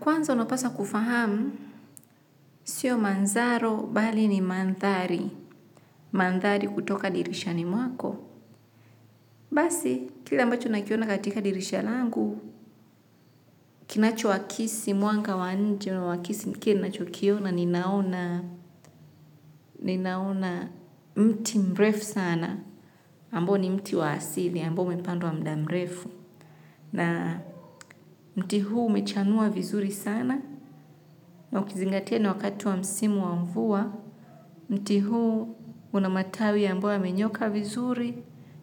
Kwanza unapaswa kufahamu, sio manzaro bali ni mandhari, mandhari kutoka dirishani mwako. Basi, kile ambacho nakiona katika dirisha langu, kinacho wakisi, mwanga wa nje, wakisi mkini nachokiona, ninaona, ninaona mti mrefu sana. Ambao ni mti wa asili, ambao umepandwa mda mrefu. Na mti huu umechanua vizuri sana, na ukizingatia ni wakati wa msimu wa mvua, mti huu una matawi ambayo yamenyoka vizuri,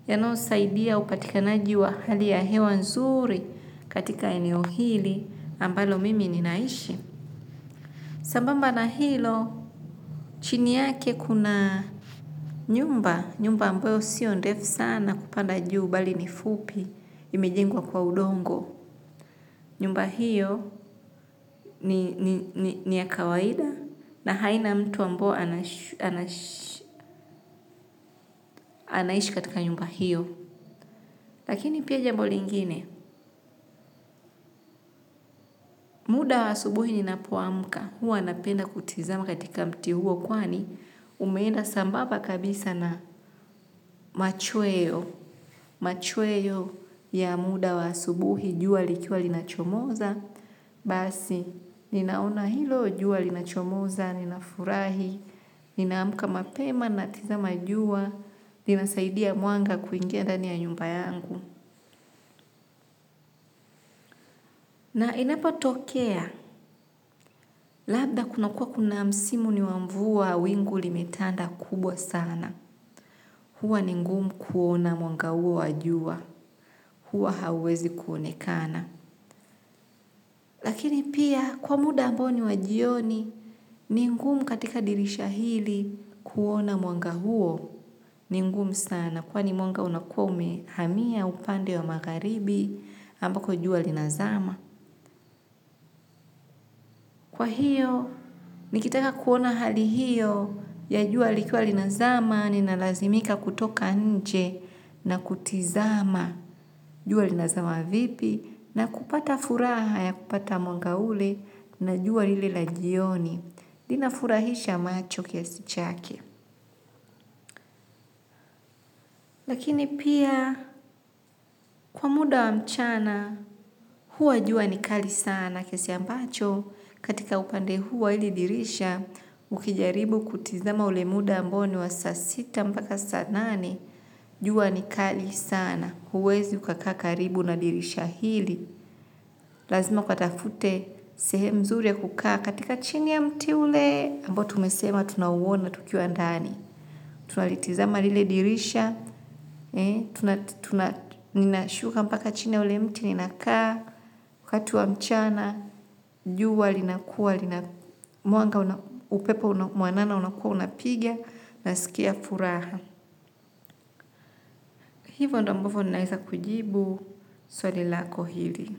yanoyosaidia upatikanaji wa hali ya hewa nzuri katika eneo hili ambalo mimi ninaishi. Sambamba na hilo, chini yake kuna nyumba, nyumba ambayo sio ndef sana kupanda juu bali ni fupi, imejengwa kwa udongo. Nyumba hiyo ni ya kawaida na haina mtu ambao anaishi katika nyumba hiyo. Lakini pia jambo lingine, muda wa subuhi ni napo amka, huwa napenda kutizama katika mti huo kwani, umeenda sambaba kabisa na machweo. Machweyo ya muda wa asubuhi jua likiwa linachomoza. Basi, ninaona hilo jua linachomoza, ninafurahi. Ninaamka mapema, natizama jua. Ninasaidia mwanga kuingia ndani ya nyumba yangu na inapo tokea, labda kuna kuwa kuna msimu ni wa mvua wingu limetanda kubwa sana. Hua ni ngumu kuona mwanga huo wa jua. Hua hauwezi kuonekana. Lakini pia kwa muda ambao ni wa jioni ni ngumu katika dirisha hili kuona mwanga huo ni ngumu sana kwani mwanga unakuwa umehamia upande wa magharibi ambako jua linazama. Kwa hiyo, nikitaka kuona hali hiyo ya jua likiwa linazama ni nalazimika kutoka nje na kutizama jua linazama vipi na kupata furaha ya kupata mwanga ule na jua lile la jioni. Inafurahisha macho kiasi chake. Lakini pia kwa muda wa mchana huwa jua nikali sana kiasi ambacho katika upande huu wa hili dirisha ukijaribu kutizama ule muda ambao ni wa saa sita mpaka saa nane jua ni kali sana huwezi ukakaa karibu na dirisha hili. Lazima ukatafute sehemu mzuri ya kukaa katika chini ya mti ule ambao tumesema tunauona tukiwa ndani. Tunalitizama lile dirisha. Ninashuka mpaka chini ya ule mti ninakaa kati wa mchana, juwa linakua. Mwanga upepo mwanana unakua unapiga. Nasikia furaha. Hivo ndo ambovo naeza kujibu swali lako hili.